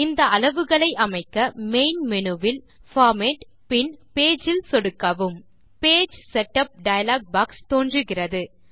இந்த அளவுகளை அமைக்க மெயின் மேனு வில் பார்மேட் பின் பேஜ் இல் சொடுக்கவும் பேஜ் செட்டப் டயலாக் பாக்ஸ் தோன்றுகிறது